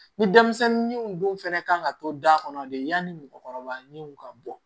Ni denmisɛnninw dun fɛnɛ kan ka to da kɔnɔ de yanni mɔgɔkɔrɔba ɲinw ka bɔ